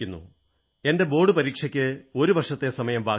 എന്റെ ബോർഡ് പരീക്ഷയ്ക്ക് ഒരു വർഷത്തെ സമയം ബാക്കിയുണ്ട്